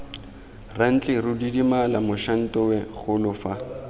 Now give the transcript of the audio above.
rantleru didimala mošantowe golo fa